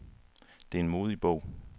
Det er en modig bog.